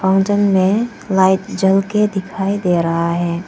Fountain में light जल के दिखाई दे रहा है।